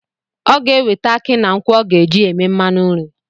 Ọ ga-eweta aki na nkwụ ọ ga-eji eme mmanụ nri